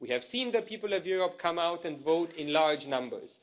We have seen the people of Europe come out and vote in large numbers.